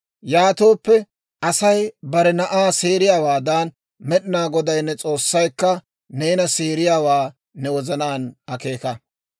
Yaatooppe, Asay bare na'aa seeriyaawaadan, Med'inaa Goday ne s'oossaykka neena seeriyaawaa ne wozanaan akeeka.